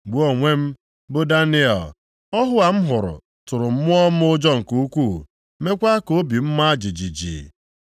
“Mụ onwe m, bụ Daniel, ọhụ a m hụrụ tụrụ mmụọ m ụjọ nke ukwuu, mekwa ka obi m ma jijiji.